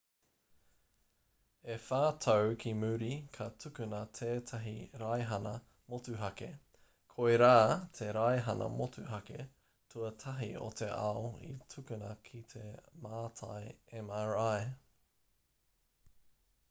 e whā tau ki muri ka tukuna tētahi raihana motuhake koirā te raihana motuhake tuatahi o te ao i tukuna ki te mātai mri